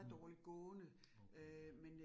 Mh. Okay ja